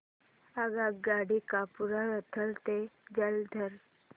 आगगाडी कपूरथला ते जालंधर